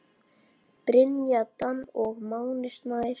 Brynja Dan og Máni Snær.